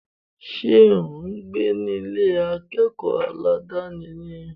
Ṣé ò ń gbé ní Ilé akẹ́kọ̀ọ́ aládàni ni?